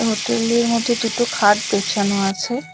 হোটেলের মধ্যে দুটো খাট বেছানো আছে।